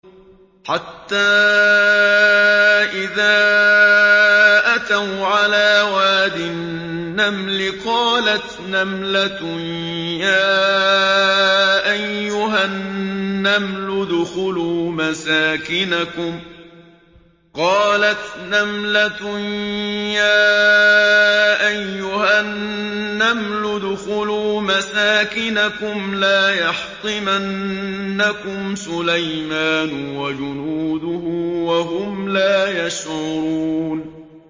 حَتَّىٰ إِذَا أَتَوْا عَلَىٰ وَادِ النَّمْلِ قَالَتْ نَمْلَةٌ يَا أَيُّهَا النَّمْلُ ادْخُلُوا مَسَاكِنَكُمْ لَا يَحْطِمَنَّكُمْ سُلَيْمَانُ وَجُنُودُهُ وَهُمْ لَا يَشْعُرُونَ